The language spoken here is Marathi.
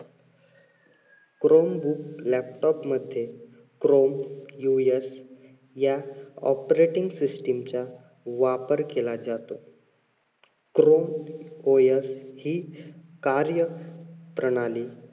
crome book laptop मध्ये chrome या operating system च्या वापर केला जातो. chrome OS हि कार्य प्रणाली